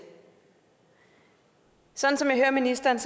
sådan som jeg hører ministeren